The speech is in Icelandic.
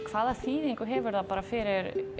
hvaða þýðingu hefur það fyrir